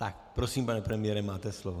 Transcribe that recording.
Tak prosím, pane premiére, máte slovo.